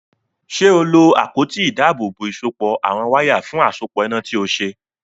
Ṣé o lo àpótí ìdábòòbò ìsopọ̀ àwọn wáyà fún àsopọ̀ iná tí o ṣe?